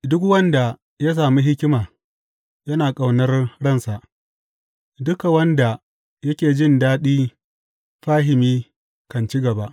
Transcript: Duk wanda ya sami hikima yana ƙaunar ransa; duka wanda yake jin daɗi fahimi kan ci gaba.